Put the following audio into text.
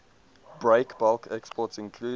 breakbulk exports include